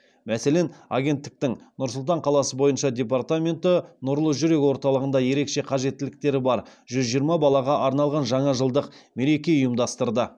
мәселен агенттіктің нұр сұлтан қаласы бойынша департаменті нұрлы жүрек орталығында ерекше қажеттіліктері бар жүз жиырма балаға арналған жаңа жылдық мереке ұйымдастырды